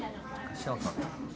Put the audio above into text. sjá það